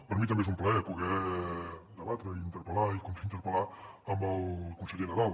per mi també és un plaer poder debatre i interpellar i contrainterpel·lar amb el conseller nadal